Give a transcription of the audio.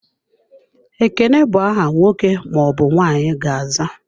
Ekene bụ aha nwoke ma ọbụ nwanyị ga-aza.